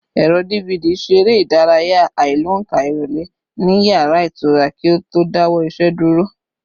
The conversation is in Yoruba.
Ẹ̀rọ DVD ṣe eré ìdárayá àìlóǹkà ìrọ̀lẹ́ ní yàrá ìtura kí ó tó dáwọ́ iṣẹ́ dúró